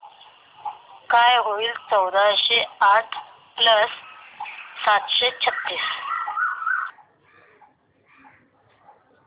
काय होईल चौदाशे आठ प्लस सातशे छ्त्तीस